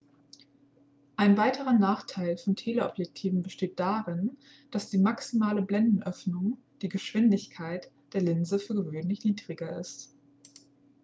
ein weiterer nachteil von teleobjektiven besteht darin dass die maximale blendenöffnung die geschwindigkeit der linse für gewöhnlich niedriger ist